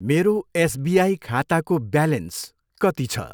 मेरो एसबिआई खाताको ब्यालेन्स कति छ?